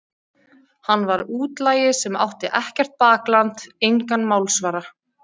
Hann var útlagi sem átti ekkert bakland, engan málsvara.